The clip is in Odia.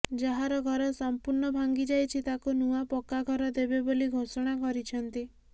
ଯାହାର ଘର ସମ୍ପୁର୍ଣ୍ଣ ଭାଙ୍ଗିଯାଇଛି ତାକୁ ନୂଆ ପକ୍କା ଘର ଦେବେ ବୋଲି ଘୋଷଣା କରିଛନ୍ତି